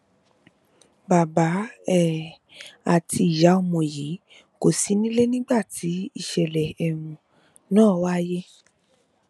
bàbá um àti ìyá ọmọ yìí kò sí nílé nígbà tí ìṣẹlẹ um ná wáyé